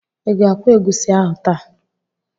Ị ga-akwọ egusi ahụ taa?